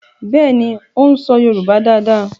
Béèni o ń so yorùbá dá dá.